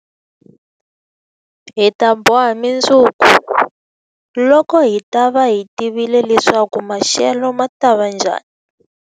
Hi ta boha mundzuku, loko hi ta va hi tivile leswaku maxelo ma ta va njhani.